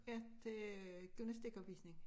Ja til øh gymnastikopvisning